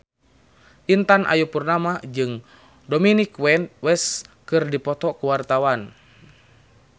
Intan Ayu Purnama jeung Dominic West keur dipoto ku wartawan